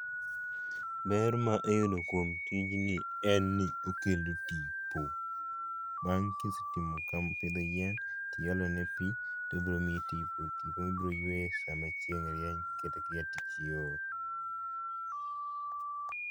Ber ma iyudo kuom tijni en ni okelo tipo. Bang' kisetimo ka, pidho yien, tiolo ne pii ,tobiro miyi tipo. Tipo ma ibiro yweye sama chieng' rieny kata kiaye tich iol